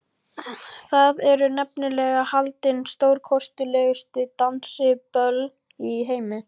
Þar eru nefnilega haldin stórkostlegustu dansiböll í heimi.